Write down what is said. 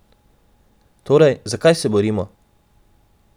Torej, za kaj se borimo?